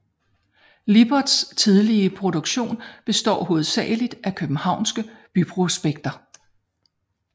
Liberts tidlige produktion består hovedsageligt af københavnske byprospekter